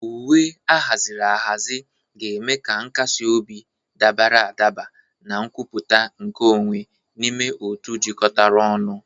Uwe ahaziri ahazi ga-eme ka nkasi obi, dabara adaba na nkwupụta nke onwe n'ime otu jikọtara ọnụ.